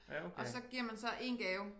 Og så giver man så én gave